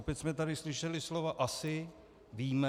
Opět jsme tady slyšeli slova asi, víme.